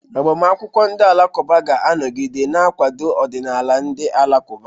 Agbamakwụkwọ ndị Alakụba ga-anọgide na-akwado ọdịnala ndị Alakụba..